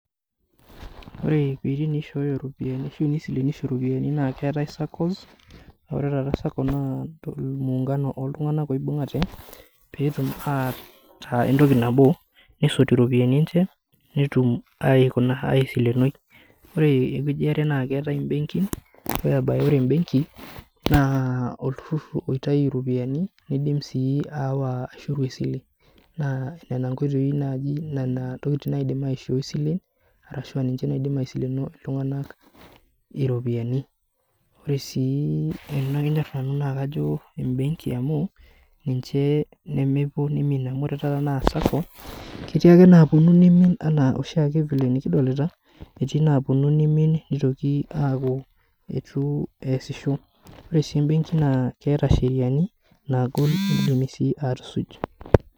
Ore piiti iwueitin nishooyo iropiani ashu inisilenisho iropiani naa keetae saccos aore taata sacco naa muungano oltung'anak oibung'ate peetum ataa entoki nabo nesot iropiyiani enche netum aikuna aisilenoi ore ewueji iare naa keetae imbenkin ore bae ore embenki naa olturrur oitayu iropiani nindim sii aawa aishoru esile naa nena nkoitoi naaji nena ntokiting naaji naidim aishoi silen arashua ninche naidim aisileno iltung'anak iropiyiani ore sii enakinyorr naanu naa kajo embenki amu kajo amu ninche nempuo nimin amu ore taata naa sacco ketii ake naaponu nimin nitoki aaku etu eesisho ore sii imbenkin naa keeta sheriani naagol nidimi sii atusuj.